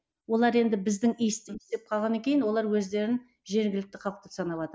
олар енді біздің деп қалғаннан кейін олар өздерін жергілікті халық деп санаватыр